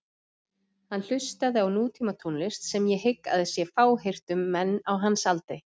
Hann hlustaði á nútímatónlist sem ég hygg að sé fáheyrt um menn á hans aldri.